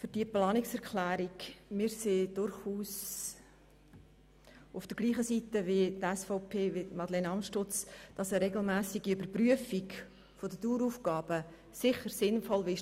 Wir stehen durchaus auf derselben Seite wie Madeleine Amstutz und sind der Meinung, dass eine regelmässige Überprüfung der Daueraufgaben sinnvoll ist.